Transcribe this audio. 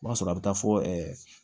O b'a sɔrɔ a bɛ taa fɔ ɛɛ